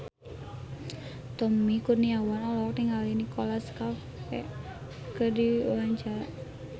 Tommy Kurniawan olohok ningali Nicholas Cafe keur diwawancara